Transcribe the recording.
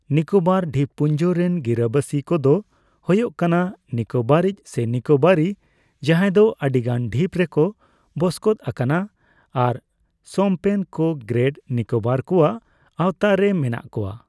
ᱱᱤᱠᱳᱵᱚᱨ ᱰᱷᱤᱯᱯᱩᱧᱡᱚ ᱨᱮᱱ ᱜᱤᱨᱟᱹᱵᱟᱥᱤ ᱠᱚᱫᱚ ᱦᱳᱭᱳᱜ ᱠᱟᱱᱟ ᱱᱤᱠᱳᱵᱟᱨᱤᱡᱽ, ᱥᱮ ᱱᱤᱠᱳᱵᱟᱨᱤ, ᱡᱟᱦᱟᱸᱭ ᱫᱚ ᱟᱹᱰᱤᱜᱟᱱ ᱰᱷᱤᱯ ᱨᱮᱠᱚ ᱵᱚᱥᱠᱚᱛ ᱟᱠᱟᱱᱟ ᱟᱨ ᱥᱳᱢᱯᱮᱱᱠᱚ ᱜᱨᱮᱹᱴ ᱱᱤᱠᱳᱵᱚᱨ ᱠᱚᱣᱟᱜ ᱟᱣᱛᱟ ᱨᱮ ᱢᱮᱱᱟᱜ ᱠᱚᱣᱟ ᱾